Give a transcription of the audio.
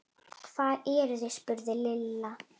Hvar eruð þið? spurði Lilla.